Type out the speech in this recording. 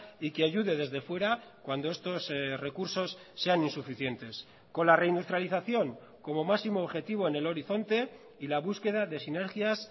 y que ayude desde fuera cuando estos recursos sean insuficientes con la reindustrialización como máximo objetivo en el horizonte y la búsqueda de sinergias